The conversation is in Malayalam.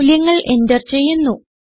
മൂല്യങ്ങൾ എന്റർ ചെയ്യുന്നു